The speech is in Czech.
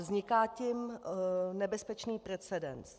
Vzniká tím nebezpečný precedens.